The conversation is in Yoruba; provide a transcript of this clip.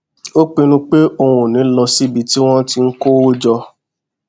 ó pinnu pé òun ò ní lọ síbi tí wón ti ń kó owó jọ